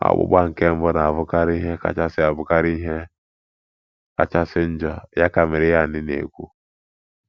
"Ọgbụgba nke mbụ na abụkarị ihe kachasị abụkarị ihe kachasị njọ", ya ka Maryann na-ekwu